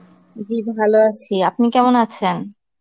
জী ভালো আছি. আপনি কেমন আছেন?